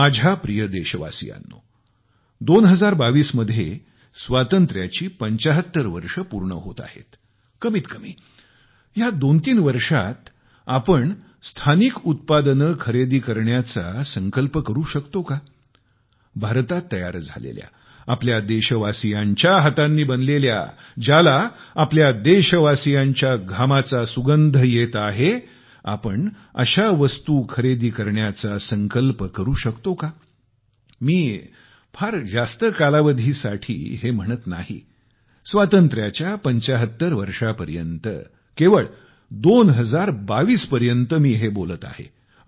माझ्या प्रिय देशवासियांनो 2022 मध्ये स्वातंत्र्याची 75 वर्ष पूर्ण होत आहेत कमीतकमी या दोनतीन वर्षांत आपण स्थानिक उत्पादने खरेदी करण्याचा आग्रह करू शकतो का भारतात तयार झालेल्या आपल्या देशवासीयांच्या हातांनी बनलेल्या ज्याला आपल्या देशवासियांच्या घामाचा सुंगंध येत आहे आपण अशा वस्तू खरेदी करण्याचा आग्रह धरू शकतो का मी फार जास्त कालावधीसाठी हे म्हणत नाही स्वातंत्र्याच्या 75 वर्षापर्यंत केवळ 2022 पर्यंत मी हे बोलत आहे